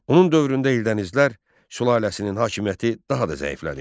Onun dövründə Eldənizlər sülaləsinin hakimiyyəti daha da zəiflədi.